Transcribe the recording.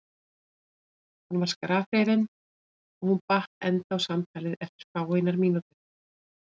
Hann var skrafhreifinn en hún batt enda á samtalið eftir fáeinar mínútur.